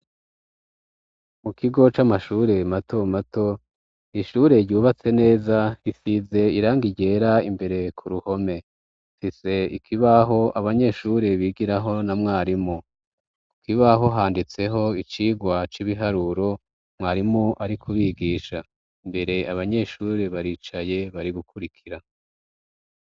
mu kigo c'amashure mato mato ishure ryubatse neza risize irangi ryera imbere ku ruhome rise ikibaho abanyeshure bigiraho na mwarimu kukibaho handitseho icigwa c'ibiharuro mwarimu ari kubigisha imbere abanyeshuri baricaye bari gukurikira.